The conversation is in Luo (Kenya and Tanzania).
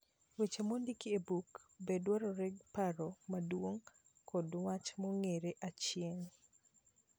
Weche mondik e buk be dwaro paro modongo kod wach mong'ere achien.